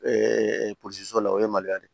polisiso la o ye maliya de ye